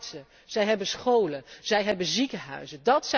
Zij zijn artsen, zij hebben scholen, zij hebben ziekenhuizen.